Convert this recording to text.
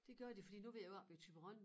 Det gør de fordi nu ved jeg jo oppe i Thyborøn